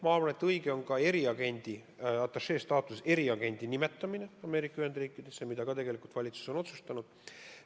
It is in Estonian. Ma arvan, et õige on ka atašee staatuses eriagendi nimetamine Ameerika Ühendriikides, sedagi on valitsus otsustanud.